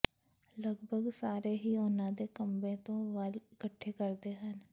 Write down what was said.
ਲਗਭਗ ਸਾਰੇ ਹੀ ਉਹਨਾਂ ਦੇ ਕੰਬੇ ਤੋਂ ਵਾਲ ਇਕੱਠੇ ਕਰਦੇ ਹਨ